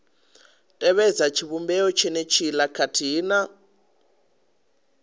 tevhedza tshivhumbeo tshenetshiḽa khathihi na